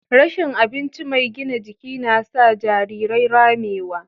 Rashin abincin mai gina jiki na sa jarirai ramewa.